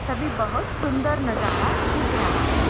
सभी बहुत सुुन्‍दर नजारा दिख रहा है।